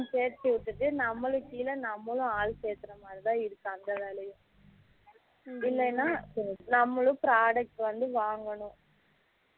சேர்த்து விட்டுட்டு நம்மளுக்கு கீழ நம்மளும் ஆளு சேர்க்குர மாதிரி தான் இருக்கு அந்த வேலையும் இல்லனா நம்மளும் product வந்து வாங்கணும்